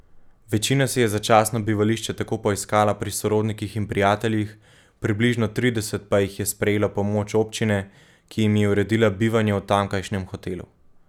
Večina si je začasno bivališče tako poiskala pri sorodnikih in prijateljih, približno trideset pa jih je sprejelo pomoč občine, ki jim je uredila bivanje v tamkajšnjem hotelu.